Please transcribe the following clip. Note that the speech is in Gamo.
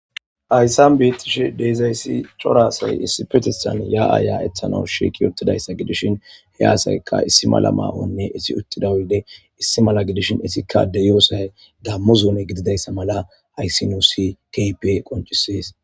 ayssan bettishe deezayssi corasay issi petistan ya aaya ethanau shi kiyotidayssa gidishin he aasaykka issi mala ma7onne issi uttida uyde issi mala gidishin issikka addeyoosay gammu zuuni gididayssa mala hayssi nusi kpe qoncisees